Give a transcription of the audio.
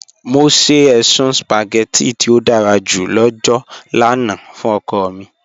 Mọ sẹ èṣùn spaghetti tí ó dàrá jù lọ́jọ́ lána fún ọ̀kọ̀ mi